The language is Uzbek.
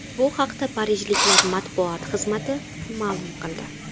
Bu haqda parijliklar matbuot xizmati ma’lum qildi .